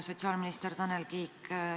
Sotsiaalminister Tanel Kiik!